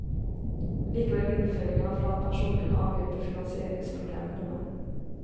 Likevel vil innføringen av flat pensjon kunne avhjelpe finansieringsproblemet noe.